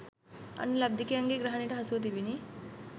අන්‍ය ලබ්ධිකයන්ගේ ග්‍රහණයට හසුවී තිබුණි.